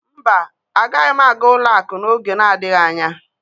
mba agaghị m aga ụlọ akụ n'oge na-adịghị anya.